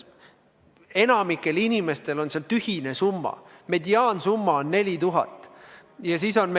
Enamikul inimestel on seal tühine summa, mediaansumma on 4000 eurot.